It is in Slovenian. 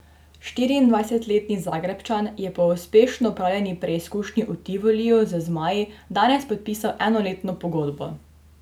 Štiriindvajsetletni Zagrebčan je po uspešno opravljeni preizkušnji v Tivoliju z zmaji danes podpisal enoletno pogodbo.